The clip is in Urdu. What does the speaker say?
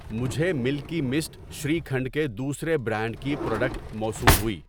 مجھے ملکی مسٹ شری کھنڈ کے دوسرے برانڈ کی پراڈکٹ موصول ہوئی۔